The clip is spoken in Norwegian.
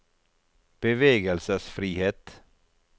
bevegelsesfrihet